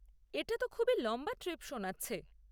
এটা তো খুবই লম্বা ট্রিপ শোনাচ্ছে।